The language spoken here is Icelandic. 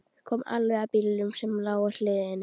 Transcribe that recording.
Kom alveg að bílnum sem lá á hliðinni.